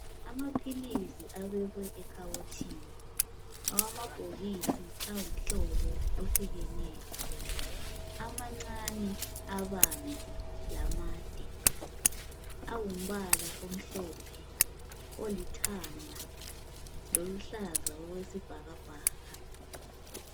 Amaphilisi abekwe ekhabothini awamabhokisi awumhlobo ohlukeneyo, amancani, abanzi lamade. Awumbala omhlophe, olithanga loluhlaza okwesibhakabhaka.